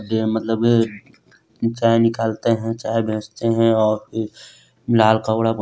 यह मतलब ये चाय निकलते हैं चाय बेचते हैं और लाल कपडा--